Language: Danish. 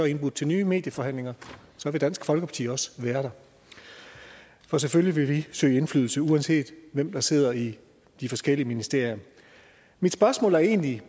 indbudt til nye medieforhandlinger så vil dansk folkeparti også være der for selvfølgelig vil vi søge indflydelse uanset hvem der sidder i de forskellige ministerier mit spørgsmål er egentlig